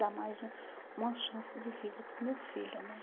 Dar mais uma uma chance de vida para o meu filho, né?